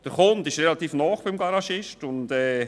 Der Kunde ist relativ nahe beim Garagisten.